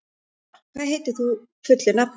Frár, hvað heitir þú fullu nafni?